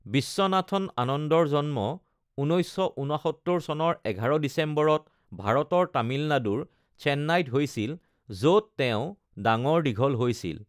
বিশ্বনাথন আনন্দৰ জন্ম ১৯৬৯ চনৰ ১১ ডিচেম্বৰত ভাৰতৰ তামিলনাডুৰ চেন্নাইত হৈছিল, য'ত তেওঁ ডাঙৰ দীঘল হৈছিল।